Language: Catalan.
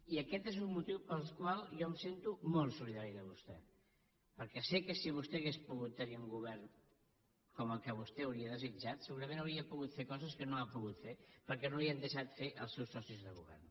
i aquest és un motiu pel qual jo em sento molt solidari amb vostè perquè sé que si vostè hagués pogut tenir un govern com el que vostè hauria desitjat segurament hauria pogut fer coses que no ha pogut fer perquè no les hi han deixat fer els seus socis de govern